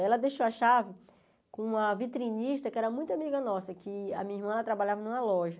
Ela deixou a chave com uma vitrinista que era muito amiga nossa, que a minha irmã trabalhava numa loja.